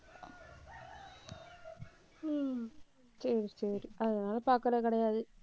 ஹம் சரி, சரி. அதனால பாக்கறது கிடையாது.